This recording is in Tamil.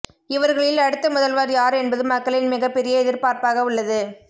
இவர்களில் அடுத்த முதல்வர் யார் என்பது மக்களின் மிகப்பெரிய எதிர்பார்ப்பாக உள்ளது